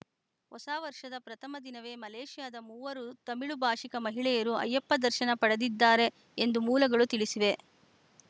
ಹೊಸ ವರ್ಷದ ಪ್ರಥಮ ದಿನವೇ ಮಲೇಷ್ಯಾದ ಮೂವರು ತಮಿಳು ಭಾಷಿಕ ಮಹಿಳೆಯರು ಅಯ್ಯಪ್ಪ ದರ್ಶನ ಪಡೆದಿದ್ದಾರೆ ಎಂದು ಮೂಲಗಳು ತಿಳಿಸಿವೆ